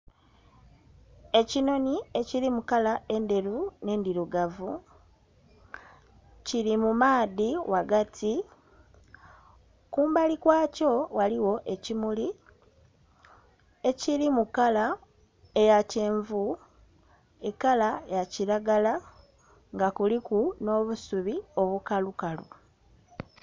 Ekinhonhi ekiri mukala endheru n'endhirugavu kiri mumaadhi ghagati kumbali kwakyo ghaligho ekimuli ekiri mukala eya kyenvu, ekala ya kiragala nga kuliku n'obusubi obukalukalu.